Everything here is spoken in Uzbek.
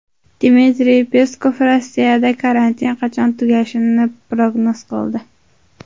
Dmitriy Peskov Rossiyada karantin qachon tugashini prognoz qildi.